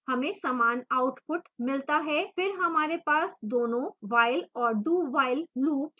हमें समान output मिलता है फिर हमारे पास दोनों while और dowhile loops क्यों हैं